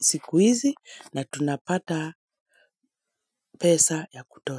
siku hizi na tunapata pesa za kutosha.